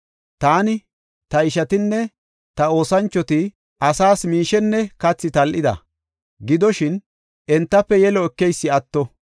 Taani, ta ishatinne ta oosanchoti asaas miishenne kathi tal7ida; gidoshin, entafe yelo ekeysi atto.